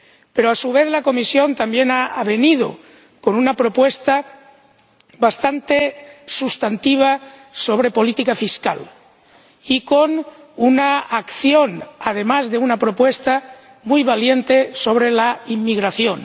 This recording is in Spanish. Pero, a su vez, la Comisión también ha venido con una propuesta bastante sustantiva sobre política fiscal y con una acción, además de una propuesta muy valiente, sobre la inmigración.